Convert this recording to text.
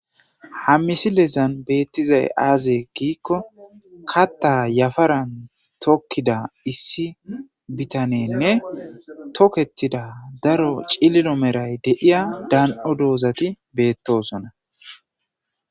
Hammisilezan beettizay aazee giikko katta yafaran tokkida issi bitanenne tokettida daro cilino meray deiya dan7o doozati beettosona.